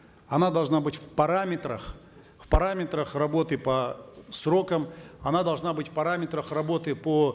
она должна быть в параметрах в параметрах работы по срокам она должна быть в параметрах работы по